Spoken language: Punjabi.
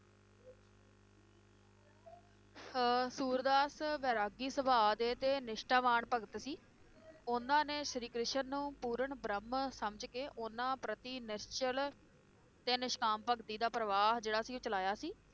ਅਹ ਸੂਰਦਾਸ ਵੈਰਾਗੀ ਸੁਭਾਅ ਦੇ ਤੇ ਨਿਸ਼ਠਾਵਾਨ ਭਗਤ ਸੀ ਉਹਨਾਂ ਨੇ ਸ਼੍ਰੀ ਕ੍ਰਿਸ਼ਨ ਨੂੰ ਪੂਰਨ ਬ੍ਰਹਮ ਸਮਝ ਕੇ ਉਹਨਾਂ ਪ੍ਰਤੀ ਨਿਸ਼ਚਲ ਤੇ ਨਿਸ਼ਕਾਮ ਭਗਤੀ ਦਾ ਪ੍ਰਵਾਹ ਜਿਹੜਾ ਸੀ ਉਹ ਚਲਾਇਆ ਸੀ